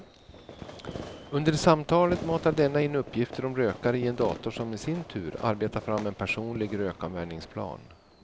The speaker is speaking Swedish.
Under samtalet matar denna in uppgifter om rökaren i en dator som i sin tur arbetar fram en personlig rökavvänjningsplan.